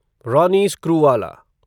Ronnie Screwvala